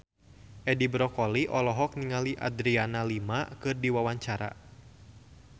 Edi Brokoli olohok ningali Adriana Lima keur diwawancara